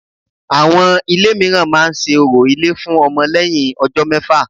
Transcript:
Àwọn ilé míràn ma se orò ilé fun ọmọ lẹ́yìn ọjọ́ mẹ́fà